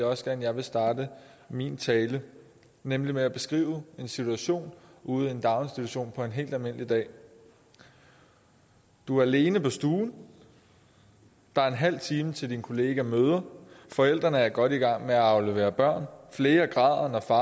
også gerne jeg vil starte min tale nemlig med at beskrive en situation ude i en daginstitution på en helt almindelig dag du er alene på stuen der er en halv time til at din kollega møder forældrene er godt i gang med at aflevere børn flere græder når far